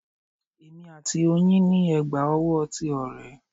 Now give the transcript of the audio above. Èmi àti oyin ní ẹ̀gbà owó ti ọ̀rẹ́